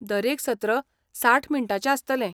दरेक सत्र साठ मिनटांचें आसतलें.